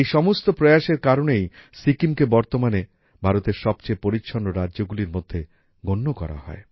এই সমস্ত প্রয়াসের কারণেই সিকিমকে বর্তমানে ভারতের সবচেয়ে পরিচ্ছন্ন রাজ্যগুলির মধ্যে গণ্য করা হয়